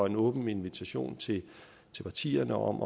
en åben invitation til partierne om